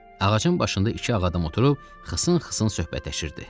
Ağacın başında iki ağ adam oturub xısın-xısın söhbətləşirdi.